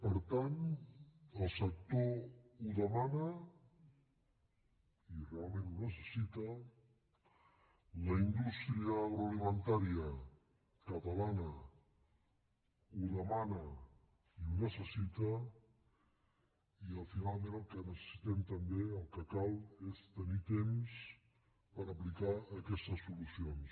per tant el sector ho demana i realment ho necessita la indústria agroalimentària catalana ho demana i ho necessita i finalment el que necessitem també el que cal és tenir temps per aplicar aquestes solucions